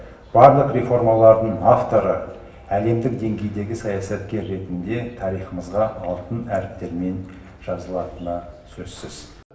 барлық реформалардың авторы әлемдік деңгейдегі саясаткер ретінде тарихымызға алтын әріптермен жазылатыны сөзсіз